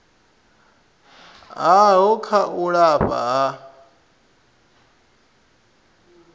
havho kha u lafha ha